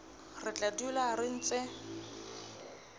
re tla dula re ntse